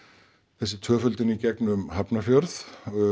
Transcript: þessi tvöföldun í gegnum Hafnarfjörð